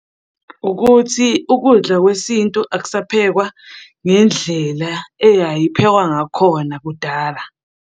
Ukuthi ukudla kwesintu akusaphekwa ngendlela eyayiphekwa ngakhona kudala.